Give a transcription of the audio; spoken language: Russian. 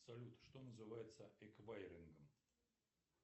салют что называется эквайрингом